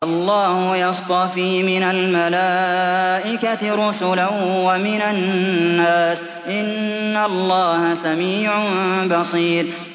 اللَّهُ يَصْطَفِي مِنَ الْمَلَائِكَةِ رُسُلًا وَمِنَ النَّاسِ ۚ إِنَّ اللَّهَ سَمِيعٌ بَصِيرٌ